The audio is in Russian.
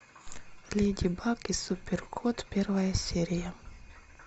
леди баг и супер кот первая серия